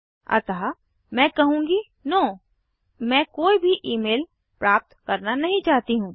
अतः मैं कहूँगी नो मैं कोई भी ईमेल प्राप्त करना नहीं चाहती हूँ